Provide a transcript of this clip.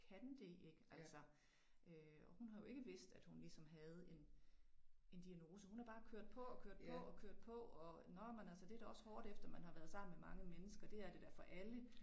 Kan det ik altså øh og hun har jo ikke vidst at hun ligesom havde en en diagnose hun har bare kørt på og kørt på og kørt på og nåh men altså det da også hårdt efter man har været sammen med mange mennesker det er det da for alle